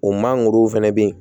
O mangorow fana bɛ yen